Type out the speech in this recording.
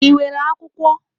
Ị nwere akwụkwọ?